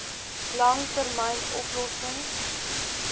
lang termyn oplossings